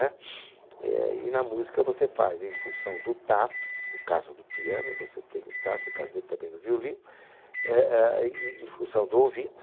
Né? É, e na música você faz em função do tato, no caso do piano você tem o tato, no caso dele também no violino, é, é, e, e em função do ouvido.